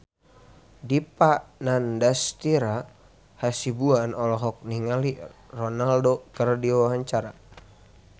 Dipa Nandastyra Hasibuan olohok ningali Ronaldo keur diwawancara